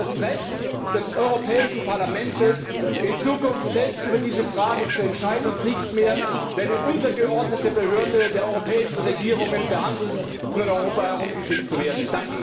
Es geht um das Recht des Europäischen Parlaments, in Zukunft selbst über diese Frage zu entscheiden und nicht mehr wie eine untergeordnete Behörde der europäischen Regierungen behandelt und in Europa herumgeschickt zu werden.